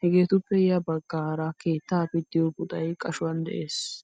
Hegeettuppe yabagaara keettaa pittiyoo puxay qashuwan de'es.